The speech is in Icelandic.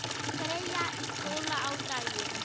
Freyja í skóla á daginn.